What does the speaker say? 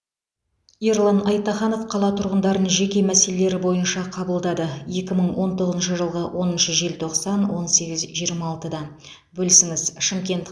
ерлан айтаханов қала тұрғындарын жеке мәселелері бойынша қабылдады екі мың он тоғызыншы жылғы оныншы желтоқсан он сегіз жиырма алтыда бөлісіңіз шымкент